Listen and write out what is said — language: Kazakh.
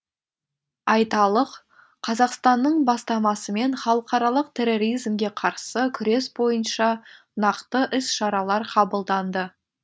айталық қазақстанның бастамасымен халықаралық терроризмге қарсы күрес бойынша нақты іс шаралар қабылданды